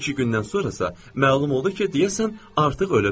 İki gündən sonrasa məlum oldu ki, deyəsən artıq ölüb.